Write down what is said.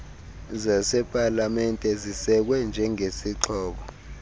zasepalamente zisekwe njengezixhobo